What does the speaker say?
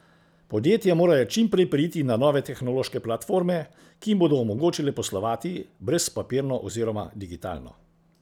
Podjetja morajo čim prej preiti na nove tehnološke platforme, ki jim bodo omogočile poslovati brezpapirno oziroma digitalno.